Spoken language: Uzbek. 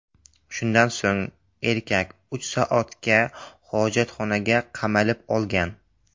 Shundan so‘ng erkak uch soatga hojatxonaga qamalib olgan.